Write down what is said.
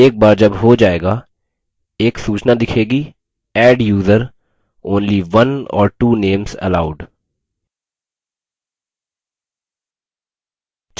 एक बार जब हो जाएगा एक सूचना दिखेगी adduser : only one or two names allowed